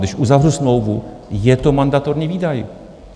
Když uzavřu smlouvu, je to mandatorní výdaj.